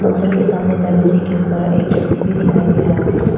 के सामने दरवाजे के ऊपर एक ए_सी भी दिखाई दे रहा है।